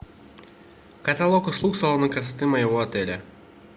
каталог услуг салона красоты моего отеля